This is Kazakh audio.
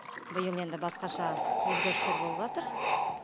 биыл енді басқаша өзгерістер болыватыр